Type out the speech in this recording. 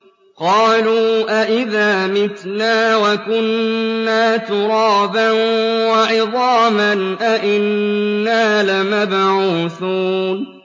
قَالُوا أَإِذَا مِتْنَا وَكُنَّا تُرَابًا وَعِظَامًا أَإِنَّا لَمَبْعُوثُونَ